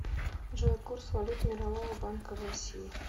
джой курс валют мирового банка в россии